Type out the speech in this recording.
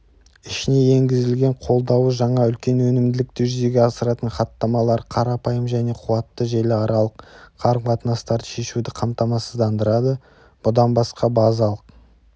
ішіне енгізілген қолдауы жаңа үлкен өнімділікті жүзеге асыратын хаттамалары қарапайым және қуатты желіаралық қарым тынастарды шешуді қамтамасыздандырадыбұдан басқа базалық